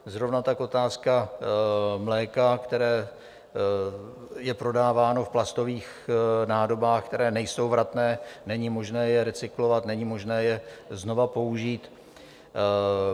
Zrovna tak otázka mléka, které je prodáváno v plastových nádobách, které nejsou vratné, není možné je recyklovat, není možné je znova použít.